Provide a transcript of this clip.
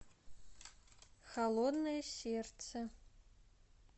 холодное сердце